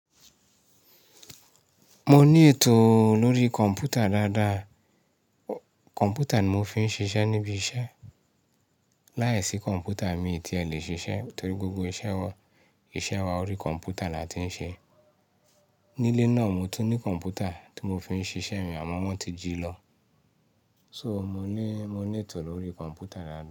Mo ní ètò lórí kọ̀mpútà dáadáa. Kọ̀mpútà ni mo fi ń ṣiṣẹ́ níbi iṣẹ́. Láìsí kọ̀npútà mi ti ẹ̀ lè ṣiṣẹ́ torí gbogbo ise wan iṣẹ́ wan lórí kọ̀npútà là tí ń ṣe. Nílé náà mo tún ní kọ̀npútà tí mo fi ń ṣiṣẹ́ mi àmọ́ wọ́n ti jí lọ. So, mo ní ètò lórí kọ̀npútà dáadáa.